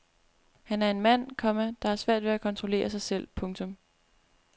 Han er en mand, komma der har svært ved at kontrollere sig selv. punktum